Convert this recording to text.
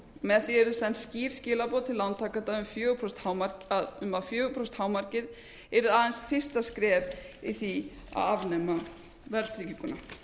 með því yrðu send skýr skilaboð til lántakenda um að fjögur prósent hámarkið yrði aðeins fyrsta skref í því að afnema verðtrygginguna